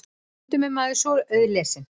Stundum er maður svo auðlesinn.